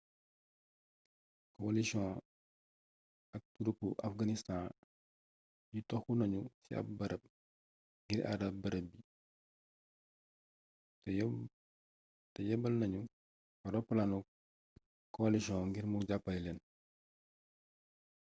kowalisiyon ak turupi afganistaan yi toxu nañu ci ab barab ngir àar barab bi te yebbal nañu fa roplaanu kowalisiyon ngir mu jàppale leen